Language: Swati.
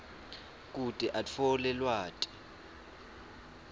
kute atfole lwati